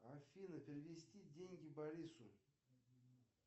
афина перевести деньги борису